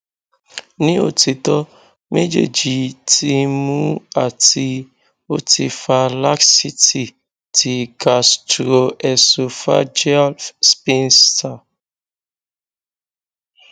ni otitọ mejeeji ti nmu ati oti fa laxity ti gastroesophageal sphincter